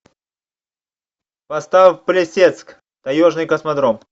поставь плесецк таежный космодром